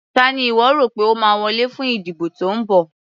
Ta ni ìwọ́ rò pé ó máa wọlé fún ìdìbò tó ń bọ̀.